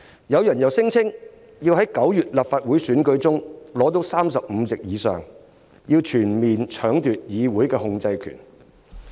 有人又聲稱要在9月立法會選舉中奪取35席以上，全面搶奪議會的控制權。